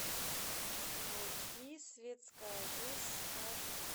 найти светская жизнь аш ди